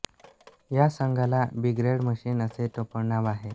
या संघाला big red machine असे टोपणनाव आहे